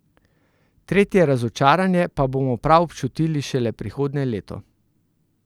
Tretje razočaranje pa bomo prav občutili šele prihodnje leto.